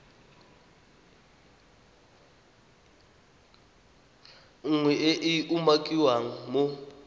nngwe e e umakiwang mo